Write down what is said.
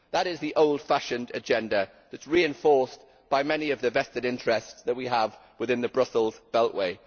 That is the old fashioned agenda that is reinforced by many of the vested interests that we have within the Brussels beltway.